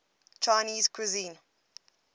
chinese cuisine